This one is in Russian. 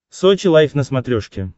сочи лайв на смотрешке